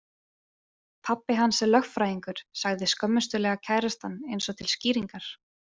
Pabbi hans er lögfræðingur, sagði skömmustulega kærastan eins og til skýringar.